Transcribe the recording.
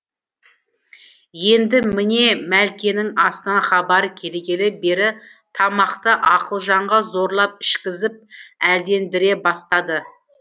енді міне мәлкенің асынан хабар келгелі бері тамақты ақылжанға зорлап ішкізіп әлдендіре бастады